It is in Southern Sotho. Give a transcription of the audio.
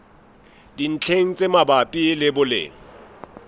dintlheng tse mabapi le boleng